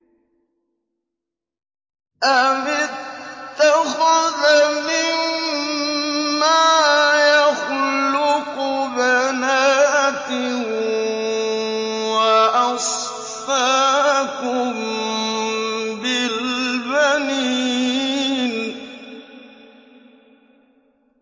أَمِ اتَّخَذَ مِمَّا يَخْلُقُ بَنَاتٍ وَأَصْفَاكُم بِالْبَنِينَ